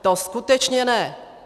To skutečně ne!